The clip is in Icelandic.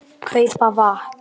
. kaupa vatn.